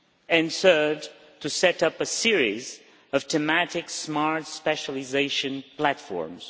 and third, to set up a series of thematic smart specialisation platforms.